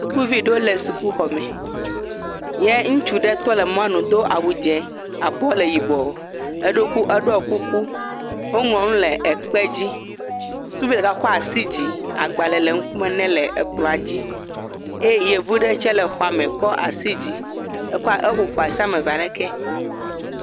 Sukuvi aɖewo le sukuxɔ me ye ŋutsu ɖe tɔ ɖe mɔnu do awu dzɛ̃, abɔ le yibɔ. Eɖo, eɖɔ kuku. Woŋlɔ nu le kpe dzi. Sukuvi ɖeka kɔ asi dzi, agbalẽ le ŋkume nɛ le kplɔ̃a dzi eye yevu ɖe tsɛ le xɔa me kɔ asi dzi. Eƒo ƒu asi ame eve ale ke.